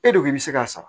E de ko i bɛ se k'a sara